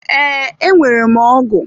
Ee, enwere m ọgụ.